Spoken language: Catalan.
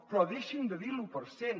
però deixin de dir l’u per cent